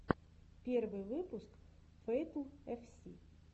первый выпуск фэйтл эф си